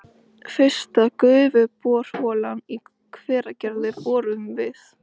Fyrsta gufuborholan í Hveragerði boruð við